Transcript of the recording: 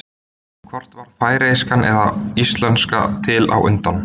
hvort varð færeyska eða íslenska til á undan